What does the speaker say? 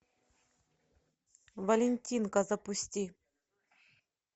валентинка запусти